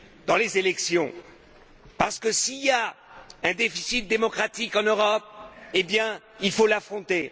dans les élections, parce que s'il y a un déficit démocratique en Europe, il faut l'affronter.